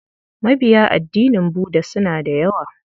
Mabiya addinin Budda suna da yawa.